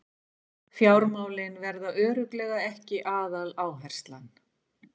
Fjármálin verði örugglega ekki aðaláherslan